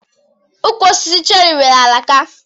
Ukwu osisi cheri nwere alaka.